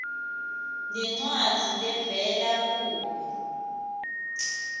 nencwadzi levela kuwe